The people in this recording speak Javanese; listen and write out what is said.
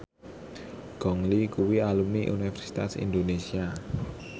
Gong Li kuwi alumni Universitas Indonesia